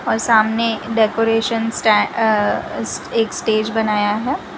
और सामने decoration stay uh एक स्टेज बनाया है।